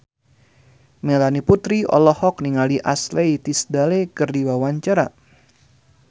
Melanie Putri olohok ningali Ashley Tisdale keur diwawancara